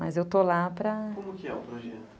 Mas eu estou lá para... Como que é o projeto?